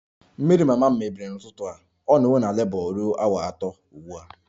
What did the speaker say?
Mmiri mama m mebiri n'ụtụtụ a, ọ nọwo na Labour ruo awa atọ ugbu a